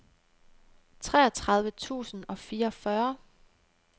treogtredive tusind og fireogfyrre